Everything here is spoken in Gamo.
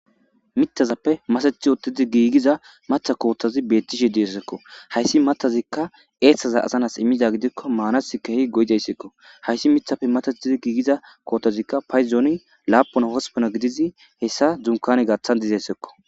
mitazappe masathi oottazi giigiza matha kootozi beettishe di'ezakko hayssi matazikka eeththaza azanas immiza gidikko maanasi keehi go'dayssekko hayssi mithappe matatizi giigiza kootozikka payzooni laapon hospona gidizi hessa dunkane gaththan dizessakko